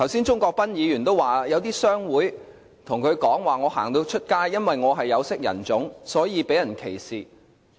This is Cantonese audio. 鍾國斌議員剛才說，有些商會人士對他說因為他是有色人種，在街上會被人歧視。